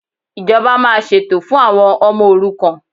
Ìjọba máa ṣètò fún àwọn ọmọ òrukàn